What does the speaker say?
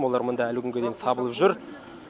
олар мында әлі күнге дейін сабылып жүр